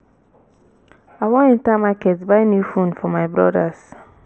i wan enter market buy new phone for my brodas